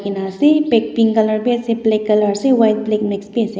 se black pink color b ase black color ase white black match b ase.